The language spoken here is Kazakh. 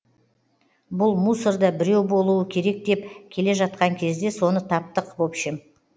бұл мусорда біреу болуы керек деп келе жатқан кезде соны таптық в общем